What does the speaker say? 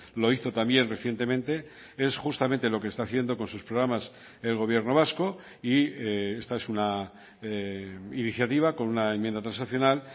lo hizo también recientemente es justamente lo que está haciendo con sus programas el gobierno vasco y esta es una iniciativa con una enmienda transaccional